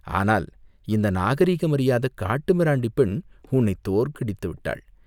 ஆனால் இந்த நாகரிகமறியாத காட்டு மிராண்டிப் பெண் உன்னைத் தோற்கடித்து விட்டாள்!